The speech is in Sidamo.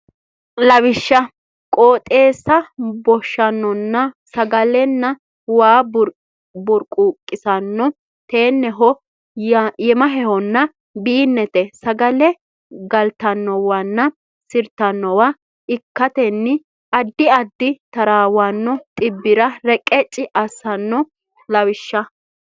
Lawishsha qooxeessa boshshanno sagalenna waa burquuqisanno teenneho yemahehonna biinnete sagale galtannowanna sirtannowa ikkatenni addi addi taraawanno dhibbira reqecci assanno Lawishsha.